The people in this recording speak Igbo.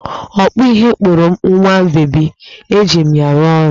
Ọkpụ ihe kpụrụ m nwa bebi, eji m ya arụ ọrụ